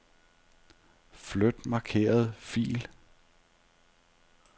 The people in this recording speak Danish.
Flyt markerede fil.